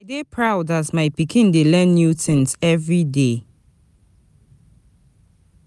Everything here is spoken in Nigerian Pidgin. I dey proud as my pikin dey learn new things every day.